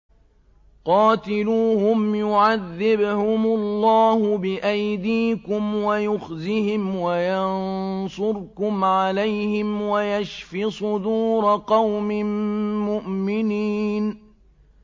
قَاتِلُوهُمْ يُعَذِّبْهُمُ اللَّهُ بِأَيْدِيكُمْ وَيُخْزِهِمْ وَيَنصُرْكُمْ عَلَيْهِمْ وَيَشْفِ صُدُورَ قَوْمٍ مُّؤْمِنِينَ